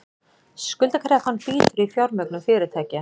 Skuldakreppan bítur í fjármögnun fyrirtækja